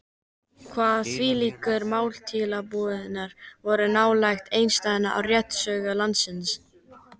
Kvað þvílíkur málatilbúnaður vera nálega einstæður í réttarsögu landsins.